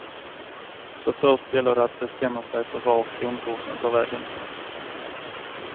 Så först gäller det att bestämma sig för var kronkursen tar vägen.